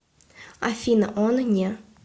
афина он не